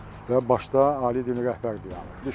Və başda ali din rəhbər dayanıb.